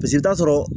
Paseke i bɛ taa sɔrɔ